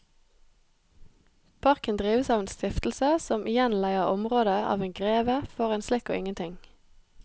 Parken drives av en stiftelse som igjen leier området av en greve for en slikk og ingenting.